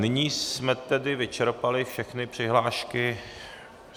Nyní jsme tedy vyčerpali všechny přihlášky.